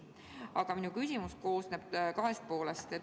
Aga minu küsimus koosneb kahest poolest.